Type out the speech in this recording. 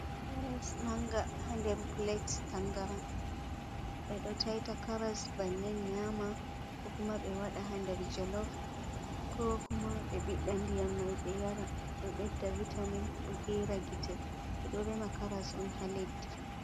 Caras manga ha nder plate tangaran be do taita caras bannin nyama kokuma be wada hander jolov ko kuma be bidda ndiyam mai be yara do bedda vitamin do gera gite be do rema caras on ha leddi.